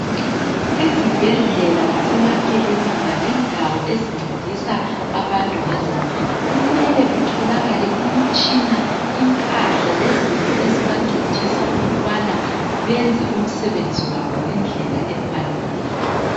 Ezibhedlela lasemakilinika lendawo ezincedisa abantu ngezempilo, kumele kutholakale imitshina, impahla, lezinto ezibancedisa ukubana benze umsebenzi wabo ngendlela efaneleyo.